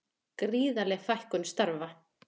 Gríðarleg fækkun starfa